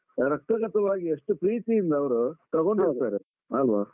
ಆಹ್ ರಕ್ತಗತವಾಗಿ ಅಷ್ಟು ಪ್ರೀತಿಯಿಂದ ಅವ್ರು ತಗೊಂಡು ಹೋಗ್ತಾರೆ ಅಲ್ವಾ?